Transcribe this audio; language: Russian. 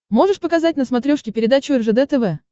можешь показать на смотрешке передачу ржд тв